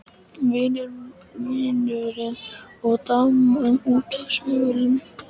Vinurinn og daman úti á svölum.